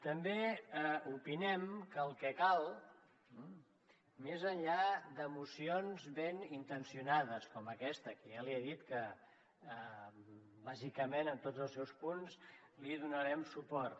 també opinem que el que cal més enllà de mocions ben intencionades com aquesta que ja li he dit que bàsicament en tots els seus punts li donarem suport